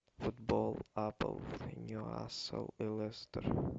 футбол апл ньюкасл и лестер